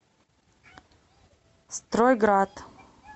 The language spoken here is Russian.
стройград